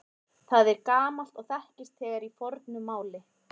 Það er gamalt og þekkist þegar í fornu máli.